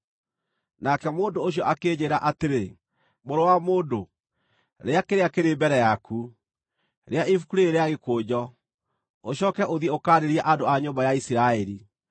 Nake mũndũ ũcio akĩnjĩĩra atĩrĩ, “Mũrũ wa mũndũ, rĩa kĩrĩa kĩrĩ mbere yaku, rĩa ibuku rĩĩrĩ rĩa gĩkũnjo; ũcooke ũthiĩ ũkaarĩrie andũ a nyũmba ya Isiraeli.”